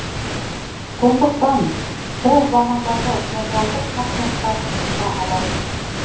сондықтан сол замандағы феодалдық қатынастарды сынға алады